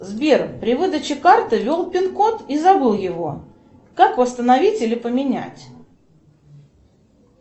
сбер при выдаче карты ввел пин код и забыл его как восстановить или поменять